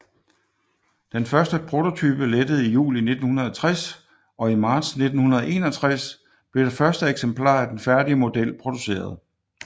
Den første prototype lettede i juli 1960 og i marts 1961 blev det første eksemplar af den færdige model produceret